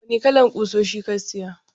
Wane irin kusoshi ka siya?